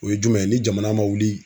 O ye jumɛn ye ni jamana man wuli